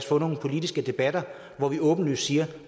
få nogle politiske debatter hvor vi åbenlyst siger